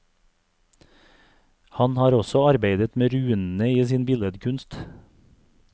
Han har også arbeidet med runene i sin billedkunst.